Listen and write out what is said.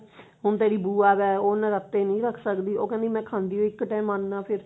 ਹੁਣ ਤੇਰੀ ਬੁਆ ਵਾ ਉਹ ਨਰਾਤੇ ਨਹੀ ਰੱਖ ਸਕਦੀ ਉਹ ਕਹਿੰਦੀ ਮੈਂ ਖਾਣੀ ਓ ਇੱਕ ਟੇਮ ਅੰਨ ਆ ਫ਼ੇਰ